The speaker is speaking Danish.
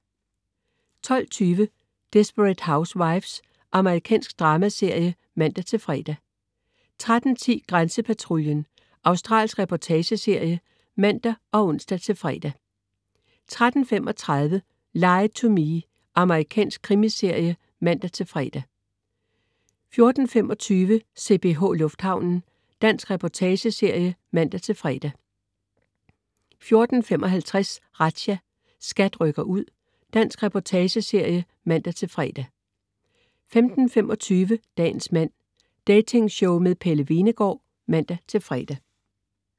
12.20 Desperate Housewives. Amerikansk dramaserie (man-fre) 13.10 Grænsepatruljen. Australsk reportageserie (man og ons-fre) 13.35 Lie to Me. Amerikansk krimiserie (man-fre) 14.25 CPH, lufthavnen. Dansk reportageserie (man-fre) 14.55 Razzia. SKAT rykker ud. Dansk reportageserie (man-fre) 15.25 Dagens mand. Datingshow med Pelle Hvenegaard (man-fre)